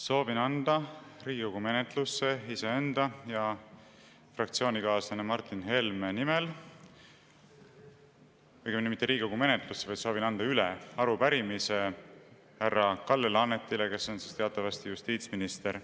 Soovin anda Riigikogu menetlusse iseenda ja fraktsioonikaaslase Martin Helme nimel – õigemini mitte Riigikogu menetlusse, vaid soovin anda üle – arupärimise härra Kalle Laanetile, kes on teatavasti justiitsminister.